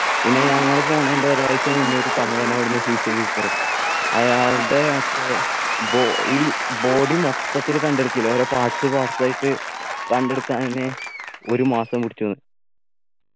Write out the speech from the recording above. പിന്നെ ഞങ്ങള് പോണേൻ്റെ ഒരാഴ്ച മുന്നെ ഒരു തമിഴൻ അവിടെന്നു suicide എയ്തെത്രേ അയാളുടെ മറ്റേ ബോ ഈ body മൊത്തത്തിൽ കണ്ടെടുക്കൂല ഓരോ parts parts ആയിട്ട് കണ്ടെടുക്കാനന്നെ ഒരു മാസം പിടിച്ചുന്ന്